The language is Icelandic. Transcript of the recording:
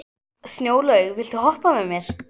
Snjólaug, viltu hoppa með mér?